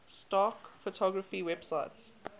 stock photography websites